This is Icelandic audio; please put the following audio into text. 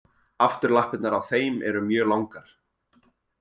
Afturlappirnar á þeim eru mjög langar.